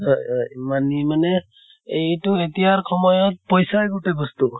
হয় হয় । money মানে এইটো এতিয়াৰ সময়ত পইছাই গোটেঅ বস্তু।